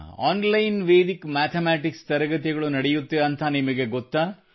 online Vedic mathematics ತರಗತಿಗಳು ನಡೆಯುತ್ತವೆಂದು ನಿಮಗೆ ಗೊತ್ತೇ